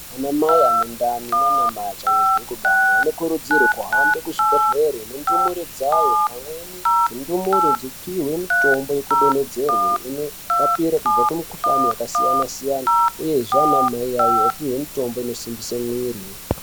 Ana mai ane ndani neachangobve kunereka anokurudzirwa kuhambe kuzvibhedhlera nendumure dzawo. Dzimweni ndumure dzopihwe mitombo yekudonhedzerwe inorapa kubve kumikuhlani yakasiyana siyana uyezve ana mai iwawo opihwe mitombo inosimbise mwiri.